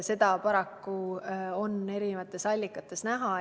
Seda on paraku eri allikates näha.